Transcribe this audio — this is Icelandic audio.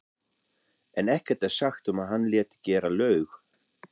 en ekkert er sagt um að hann léti gera laug.